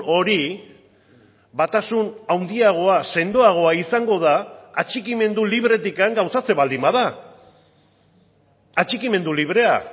hori batasun handiagoa sendoagoa izango da atxikimendu libretik gauzatzen baldin bada atxikimendu librea